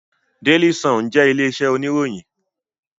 Daily Sun jẹ orúkọ ilé iṣẹ oníròyìn.